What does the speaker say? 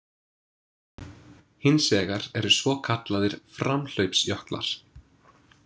Hins vegar eru svokallaðir framhlaupsjöklar.